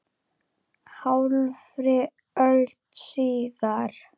Hálfri öld síðar.